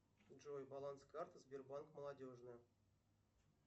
джой баланс карты сбербанк молодежная